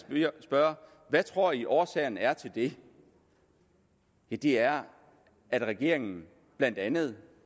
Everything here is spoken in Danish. spørge hvad tror i årsagen er til det ja det er at regeringen blandt andet